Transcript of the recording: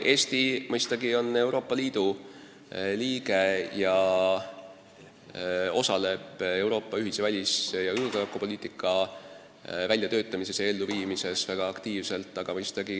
Eesti mõistagi on Euroopa Liidu liige ning osaleb Euroopa ühise välis- ja julgeolekupoliitika väljatöötamises ja elluviimises väga aktiivselt.